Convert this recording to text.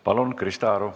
Palun, Krista Aru!